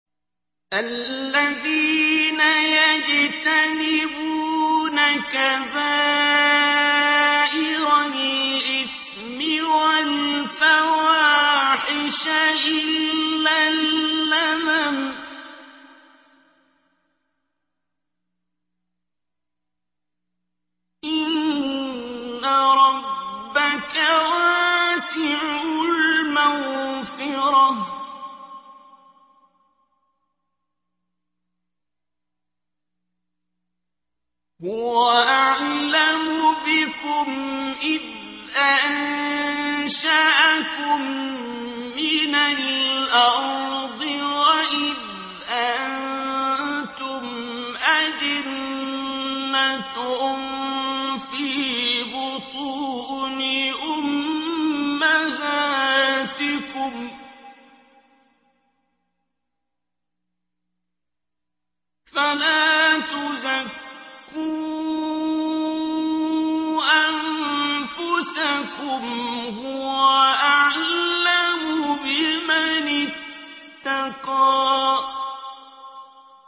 الَّذِينَ يَجْتَنِبُونَ كَبَائِرَ الْإِثْمِ وَالْفَوَاحِشَ إِلَّا اللَّمَمَ ۚ إِنَّ رَبَّكَ وَاسِعُ الْمَغْفِرَةِ ۚ هُوَ أَعْلَمُ بِكُمْ إِذْ أَنشَأَكُم مِّنَ الْأَرْضِ وَإِذْ أَنتُمْ أَجِنَّةٌ فِي بُطُونِ أُمَّهَاتِكُمْ ۖ فَلَا تُزَكُّوا أَنفُسَكُمْ ۖ هُوَ أَعْلَمُ بِمَنِ اتَّقَىٰ